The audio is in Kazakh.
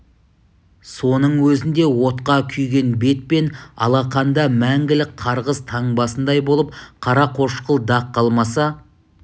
соның өзінде отқа күйген бет пен алақанда мәңгілік қарғыс таңбасындай болып қарақошқыл дақ қалмаса